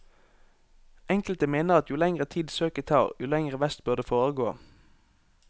Enkelte mener at jo lenger tid søket tar, jo lenger vest bør det foregå.